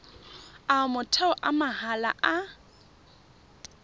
a motheo a mahala a